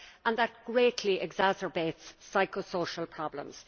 and that greatly exacerbates psycho social problems.